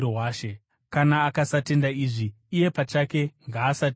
Kana akasatenda izvi, iye pachake ngaasatendwe.